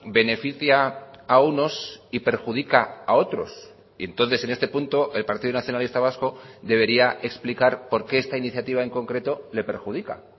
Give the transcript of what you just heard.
beneficia a unos y perjudica a otros y entonces en este punto el partido nacionalista vasco debería explicar por qué esta iniciativa en concreto le perjudica